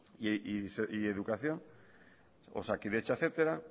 educación osakidetza etcétera